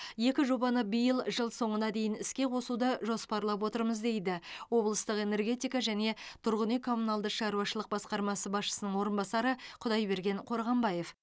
екі жобаны биыл жыл соңына дейін іске қосуды жоспарлап отырмыз дейді облыстық энергетика және тұрғын үй коммуналды шаруашылық басқармасы басшысының орынбасары құдайберген қорғанбаев